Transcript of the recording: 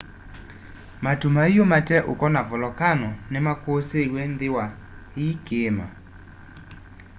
matu maiu mate uko na volokano ni makusiiiwe nthi wa i kiima